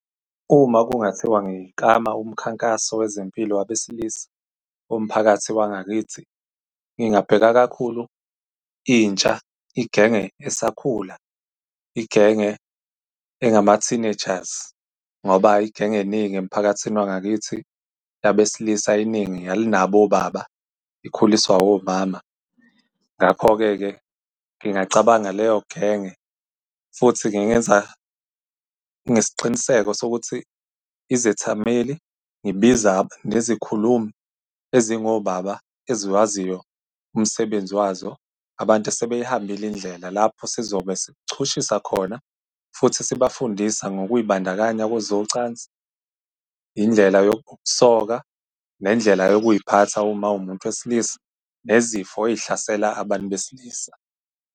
Uma kungathiwa ngiklama umkhankaso wezempilo wabesilisa womphakathi wangakithi, ngingabheka kakhulu intsha, igenge esakhula, igenge engama-teenagers. Ngoba igenge eningi emphakathini wangakithi yabesilisa, iningi alunabo obaba, ikhuliswa omama. Ngakho-ke-ke ngingacabanga leyo genge futhi ngingenza nesiqiniseko sokuthi izethameli, ngibiza nezikhulumi ezingobaba, eziwaziyo umsebenzi wazo, abantu sebeyihambile indlela. Lapho sizobe sichushisa khona, futhi sibafundisa ngokuy'bandakanya kwezocansi, indlela yokusoka, nendlela yokuy'phatha uma uwumuntu wesilisa, nezifo ey'hlasela abantu besilisa.